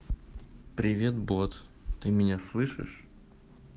привет бот ты меня слышишь